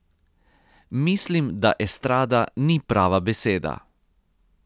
Mislim, da estrada ni prava beseda.